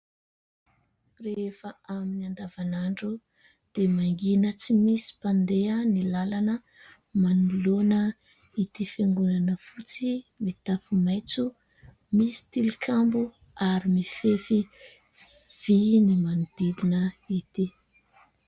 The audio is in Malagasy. Rehefa amin'ny andavanandro dia mangina tsy misy mpandeha ny lalana manoloana ity fiangonana fotsy, mitafy maitso, misy tilikambo ary mifefy vy ny manodidina ity.